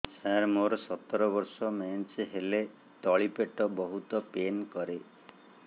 ସାର ମୋର ସତର ବର୍ଷ ମେନ୍ସେସ ହେଲେ ତଳି ପେଟ ବହୁତ ପେନ୍ କରେ